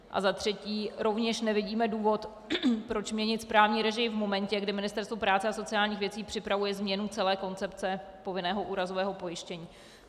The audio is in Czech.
A za třetí: Rovněž nevidíme důvod, proč měnit správní režii v momentě, kdy Ministerstvo práce a sociálních věcí připravuje změnu celé koncepce povinného úrazového pojištění.